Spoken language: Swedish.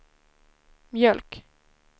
mjölk